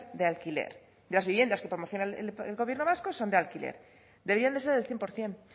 de alquiler de las viviendas que promociona el gobierno vasco son de alquiler debían de ser el cien por ciento